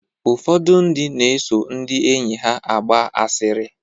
Ụfọdụ ndị na-eso ndị enyi ha agba asịrị.